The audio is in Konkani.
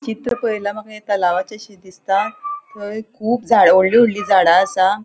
चित्र पळयल्यार माका ये तलावाचे शे दिसता थय खूब जा वोडली वोडली झाडा असा.